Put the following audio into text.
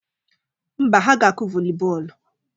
Mba, ha ga-akụ vọli bọọlụ